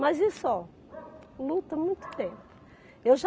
Mas isso, ó, luta há muito tempo. Eu já